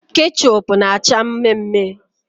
Kechup na acha mme mme